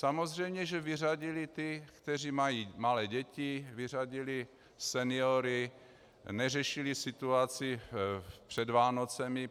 Samozřejmě že vyřadili ty, kteří mají malé děti, vyřadili seniory, neřešili situaci před Vánocemi.